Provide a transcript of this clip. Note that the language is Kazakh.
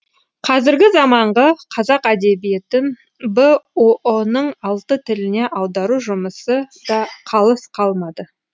қазіргі заманғы қазақ әдебиетін бұұ ның алты тіліне аудару жұмысы да қалыс қалмады